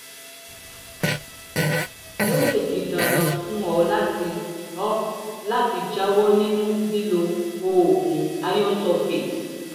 ó lè di dandan fún ọ láti ọ láti jáwọ́ nínú lílo oògùn iron sulfate